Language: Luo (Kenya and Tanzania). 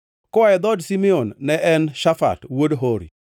koa e dhood Simeon, ne en Shafat wuod Hori;